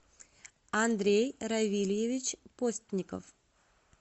андрей равильевич постников